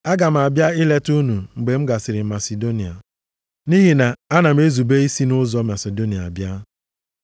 Aga m abịa ileta unu mgbe m gasịrị Masidonia. Nʼihi na ana m ezube isi nʼụzọ Masidonia abịa.